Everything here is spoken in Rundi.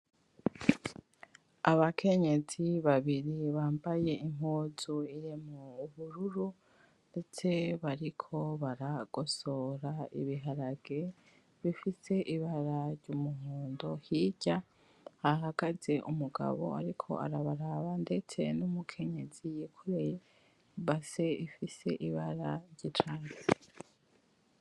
Abakenyezi babiri bambaye impuzu irimwo ubururu ndetse bariko baragosora ibiharage bifise ibara ry'umuhondo hirya hahagaze umugabo ariko arabaraba ndetse numukenyezi yikoreye base ifise ibara ry'icatsi.